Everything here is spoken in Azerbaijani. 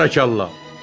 Barakallah.